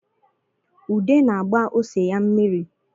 Ude na-agba ose ya mmiri